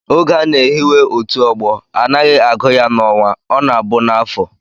Oge a na-ehiwe otu ọgbọ, anaghị agụ ya n'ọnwa, ọ na-abụ n'afọ